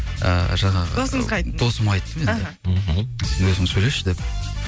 ы жаңағы досыңызға айттыңыз досыма айттым енді іхі сен өзің сөйлесші деп